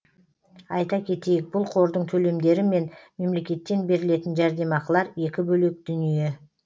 айта кетейік бұл қордың төлемдері мен мемлекеттен берілетін жәрдемақылар екі бөлек дүние